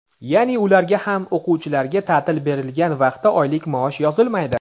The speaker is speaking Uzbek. Yaʼni ularga ham o‘quvchilarga taʼtil berilgan vaqtda oylik maosh yozilmaydi.